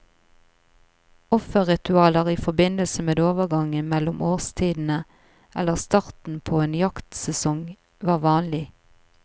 Offeritualer i forbindelse med overgangen mellom årstidene, eller starten på en jaktsesong var vanlig.